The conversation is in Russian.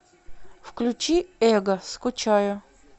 включи эго скучаю